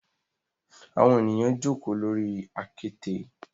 Awọn eniyan joko lori akete